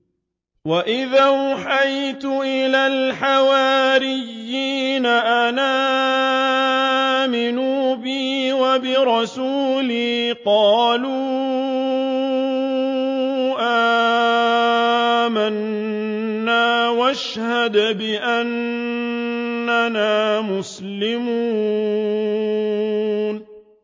وَإِذْ أَوْحَيْتُ إِلَى الْحَوَارِيِّينَ أَنْ آمِنُوا بِي وَبِرَسُولِي قَالُوا آمَنَّا وَاشْهَدْ بِأَنَّنَا مُسْلِمُونَ